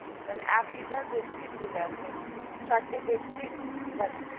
মানে এক liter Pepsi free আছে, চারটে পেপসি.